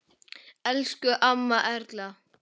Elsku amma Erla.